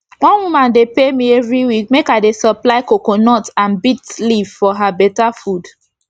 one woman dey pay me everi week make i dey supply coconut and bits leaf for her beta food